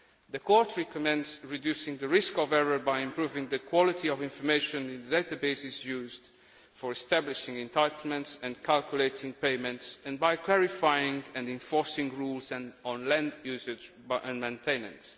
The Court recommends reducing the risk of error by improving the quality of information in the databases used for establishing entitlements and calculating payments, and by clarifying and enforcing rules on land usage and maintenance.